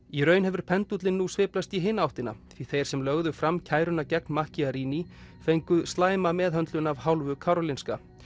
í raun hefur pendúllinn nú sveiflast í hina áttina því þeir sem lögðu fram kæruna gegn fengu slæma meðhöndlun af hálfu Karolinska